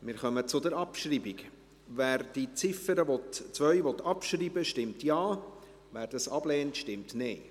Wer die Ziffer 2 abschreiben will, stimmt Ja, wer dies ablehnt, stimmt Nein.